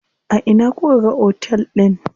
A ina kuka ga otel din?